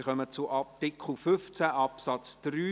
Wir kommen zum Artikel 15 Absatz 3.